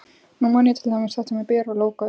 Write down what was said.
Nú man ég til dæmis þetta með Beru og lógóið.